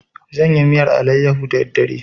Zan yi miyar alayyaho da daddare.